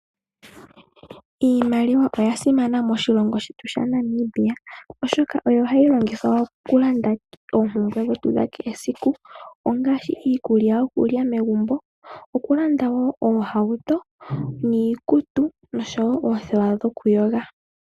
Iimaliwa oya simana moshilongo shetu shaNamibia oshoka ohayi longithwa okulanda oompumbwe dhetu dhesiku kehe. Ongaashi iikulya yokulya megumbo, iihauto, iizalomwa noothewa.